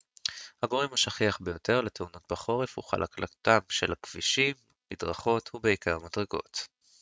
הגורם השכיח ביותר לתאונות בחורף הוא חלקלקותם של כבישים מדרכות ובעיקר מדרגות